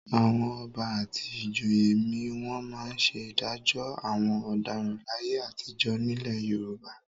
Àwọn Ọba àti ìjòyè mi wọ́n máa ń ṣe ìdájọ́ àwọn ọ̀daràn láyé àtijọ́ nílẹ̀ Yorùbá.